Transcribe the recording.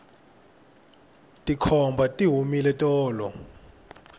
tikhomba ti humile tolo